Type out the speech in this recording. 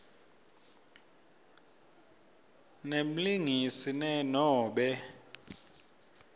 nemlingisi ne nobe